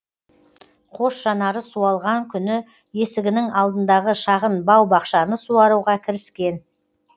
қос жанары суалған күні есігінің алдындағы шағын бау бақшаны суаруға кіріскен